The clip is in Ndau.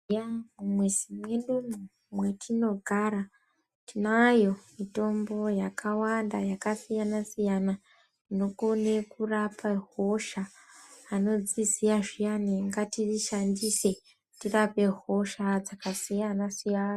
Eya mumizi mwedumwo mwetinogara tinayo mitombo yakawanda yakasiyana siyana inokone kurapa hosha anodziziya zviiyani ngatiii shandise tirape hosha dzakasiyana siyana.